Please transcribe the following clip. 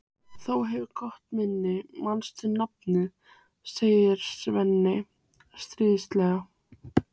Þú hefur gott minni, manst nafnið, segir Svenni stríðnislega.